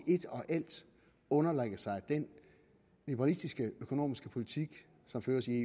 i et og alt underlægger sig den liberalistiske økonomiske politik som føres i